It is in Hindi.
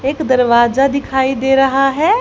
एक दरवाजा दिखाई दे रहा है।